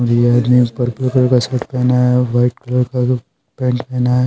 ये आदमी purple colour का शर्ट पहना है वाइट कलर का पेंट पहना है।